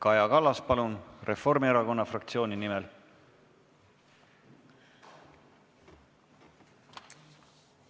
Kaja Kallas, palun, Reformierakonna fraktsiooni nimel!